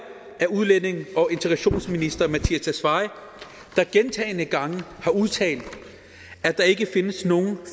af udlændinge og integrationsministeren der gentagne gange har udtalt at der ikke findes nogen